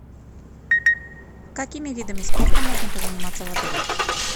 какими видами спорта можно позаниматься в отеле